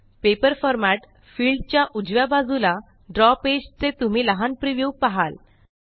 paper format field च्या उजव्या बाजूला ड्रॉ पेज चे तुम्ही लहानpreviewपाहाल